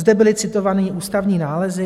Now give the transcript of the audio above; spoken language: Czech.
Zde byly citované ústavní nálezy.